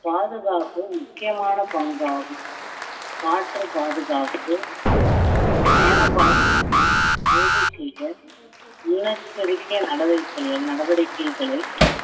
பாதுகாப்பு முக்கியமான பங்காகும் காற்று பாதுகாப்பு பயண பாதுகாப்பை உறுதி செய்தல் முன்னெச்சரிக்கை நடவடிக்கைகள் நடவடிக்கைகளை